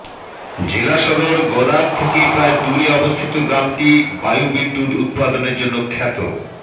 জেলাসদর গদাগ থেকে প্রায় দূরে অবস্থিত গ্রামটি বায়ুবিদ্যুৎ উৎপাদনের জন্য খ্যাত